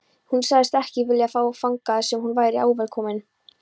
Hún sagðist ekki vilja fara þangað sem hún væri óvelkomin.